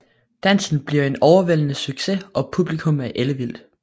Dansen bliver en overvældende succes og publikummet er ellevildt